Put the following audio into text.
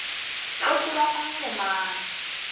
go tseba mang le mang